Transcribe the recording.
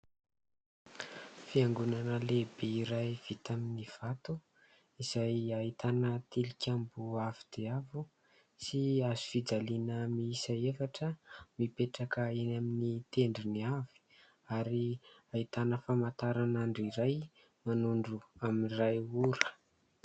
Fiangonana lehibe iray vita amin'ny vato izay ahitana tilikambo avo dia avo sy hazofijaliana miisa efatra mipetraka eny amin'ny tendrony avy ary ahitana famantaranandro iray manondro amin'ny iray ora.